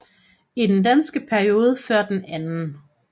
I den danske periode før den 2